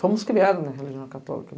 Fomos criados na religião católica.